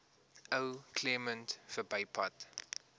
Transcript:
ou claremont verbypad